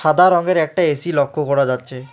সাদা রঙের একটা এ_সি লক্ষ্য করা যাচ্ছে।